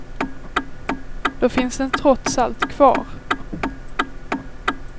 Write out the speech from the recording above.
Då finns den trots allt kvar.